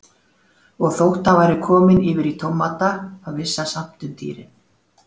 Og þótt hann væri kominn yfir í tómata þá vissi hann samt um dýrin.